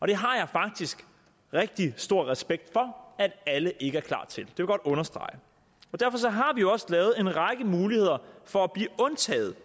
det har jeg faktisk rigtig stor respekt for at alle ikke er klar til det godt understrege derfor har vi også lavet en række muligheder for at blive undtaget